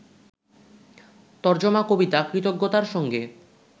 তরজমা-কবিতা ‘কৃতজ্ঞতা’র সঙ্গে